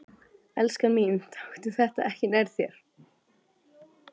Elskan mín, taktu þetta ekki nærri þér.